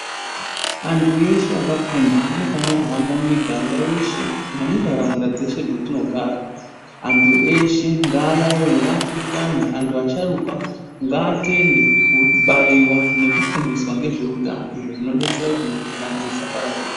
Antu eshe akafunda anofanira kuhamba mumiganga yeshe, nemuntaraunda dzeshe dzetinogara .Antu eshe ngaayaiye, ngaapurutane, antu asharuka ngaatende kubayiwa nekufundiswa ngezve utano, izvo zvinobetsera kuti mikuhlane isapararire.